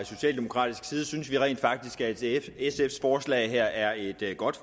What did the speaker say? socialdemokratisk side synes vi rent faktisk at sfs forslag her er et godt